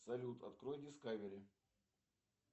салют открой дискавери